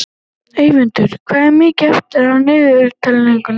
Eyvör, hvað er mikið eftir af niðurteljaranum?